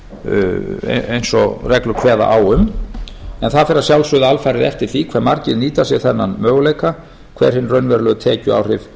útgreiðslunum eins og reglur kveða á um en það fer að sjálfsögðu alfarið eftir því hvað margir nýta sér þennan möguleika hver hin raunverulegu tekjuáhrif